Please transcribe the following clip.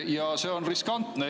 Ja see on riskantne.